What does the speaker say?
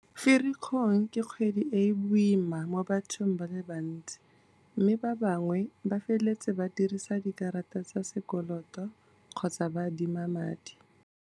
Firikgong ke kgwedi e e boima mo bathong ba le bantsi, mme ba bangwe ba feletsa ba dirisa dikarata tsa sekoloto kgotsa ba adima madi.